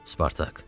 Spartak.